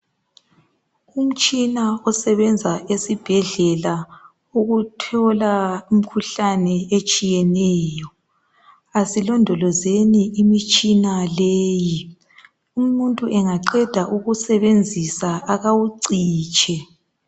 Umtshina osebenza esibhedlela ukuthola umkhuhlane etshiyeneyo asilondolozeni imitshina leyi. Umuntu engaqeda ukusebenzisa akawucitshe.